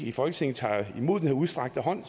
i folketinget tager imod den udstrakte hånd